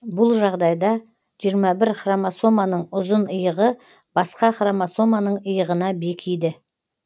бұл жағдайда жиырма бір хромосоманың ұзын иығы басқа хромосоманың иығына бекиді